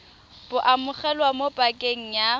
bo amogelwa mo pakeng ya